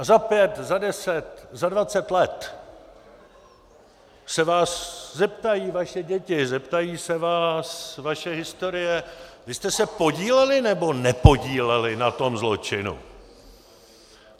A za pět, za deset, za dvacet let se vás zeptají vaše děti, zeptá se vás vaše historie: vy jste se podíleli, nebo nepodíleli na tom zločinu?